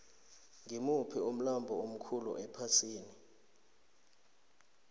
ngimuphi umlambo omkhulu ephasini